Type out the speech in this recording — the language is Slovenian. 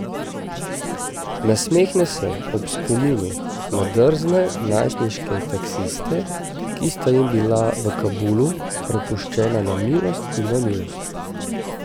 Nasmehne se ob spominu na drzne najstniške taksiste, ki sta jim bila v Kabulu prepuščena na milost in nemilost.